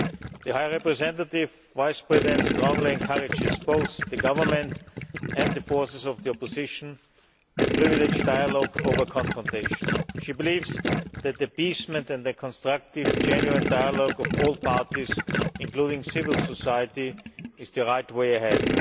The High Representative Vice President strongly encourages both the government and the forces of the opposition to privilege dialogue over confrontation. She believes that appeasement and a constructive, genuine dialogue of all parties, including civil society, is the right way ahead.